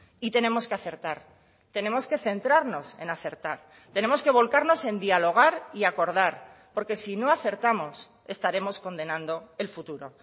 y tenemos que acertar tenemos que centrarnos en acertar tenemos que volcarnos en dialogar y acordar porque si no acertamos estaremos condenando el futuro